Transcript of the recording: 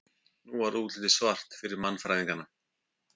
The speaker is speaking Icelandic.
nú var útlitið svart fyrir mannfræðingana